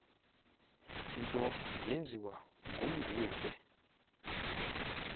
nto yenziwe ngumguve